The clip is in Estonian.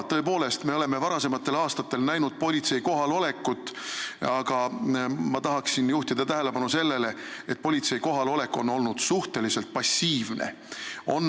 Tõepoolest, me oleme varasematel aastatel näinud politsei kohalolekut, aga ma tahan juhtida tähelepanu sellele, et politsei kohalolek on olnud suhteliselt passiivne.